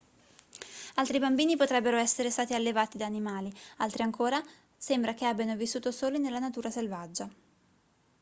altri bambini potrebbero essere stati allevati da animali altri ancora sembra che abbiano vissuto soli nella natura selvaggia